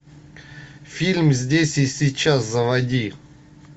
фильм здесь и сейчас заводи